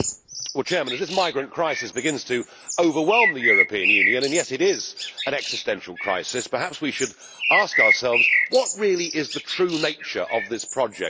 Mr President, as this migrant crisis begins to overwhelm the European Union and yes, it is an existential crisis perhaps we should ask ourselves what really is the true nature of this project?